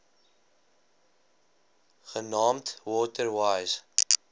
genaamd water wise